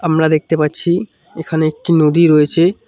আমরা দেখতে পাচ্ছি এখানে একটি নদী রয়েছে।